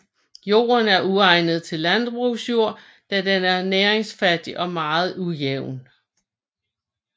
Jorden er uegnet til landbrugsjord da den er næringsfattig og meget ujævn